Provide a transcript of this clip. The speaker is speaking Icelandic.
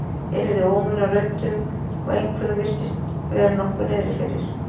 Ég heyrði óminn af röddum og einhverjum virtist vera nokkuð niðri fyrir.